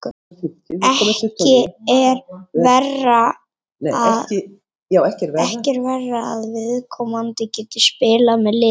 Ekki er verra að viðkomandi geti spilað með liðinu.